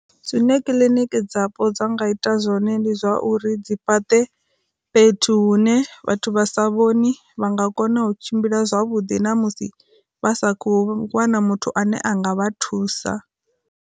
Zwine kiḽiniki dzapo dza nga ita zwone ndi zwa uri dzi fhaṱe fhethu hune vhathu vha sa vhoni vha nga kona u tshimbila zwavhuḓi na musi vha sa khou wana muthu ane anga vha thusa.